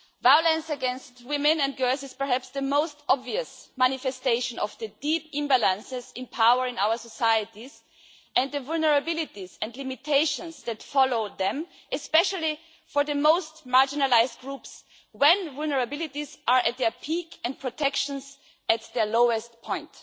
Violence against women and girls is perhaps the most obvious manifestation of the deep imbalances empowering our societies and the vulnerabilities and limitations that follow them, especially for the most marginalised groups when vulnerabilities are at their peak and protections at their lowest point.